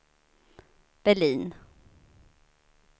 Berlin